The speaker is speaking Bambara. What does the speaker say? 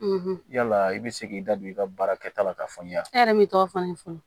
yala i bɛ se k'i da don i ka baara kɛta la k'a fɔ n y'a e yɛrɛ bɛ t'o fani fɔ